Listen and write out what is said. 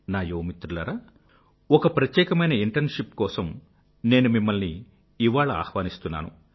నా యువ మిత్రులారా ఒక ప్రత్యేకమైన ఇంటర్న్షిప్ కోసం నేను మిమ్మల్ని ఇవాళ ఆహ్వానిస్తున్నాను